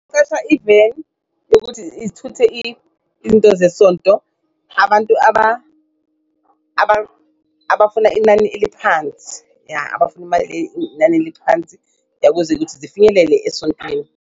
Iveni yokuthi ithuthe izinto zesonto. Abantu abafuna inani eliphansi ya abafuna inani eliphansi ukuthi zifinyelele esontweni.